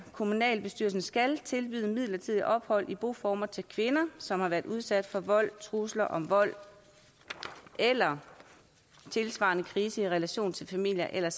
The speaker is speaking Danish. kommunalbestyrelsen skal tilbyde midlertidigt ophold i boformer til kvinder som har været udsat for vold trusler om vold eller tilsvarende krise i relation til familie eller